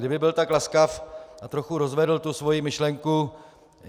Kdyby byl tak laskav a trochu rozvedl tu svoji myšlenku.